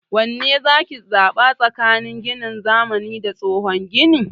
Wanne zaki zaɓa tsakanin ginin zamani da tsohon gini?